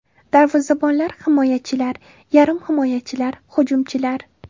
Darvozabonlar: Himoyachilar: Yarim himoyachilar: Hujumchilar: !